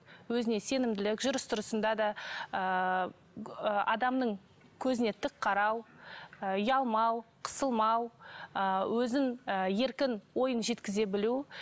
өзіне сенімділік жүріс тұрысында да ыыы адамның көзіне тік қарау ы ұялмау қысылмау ы өзін ы еркін ойын жеткізе білу